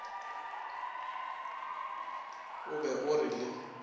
o be o re le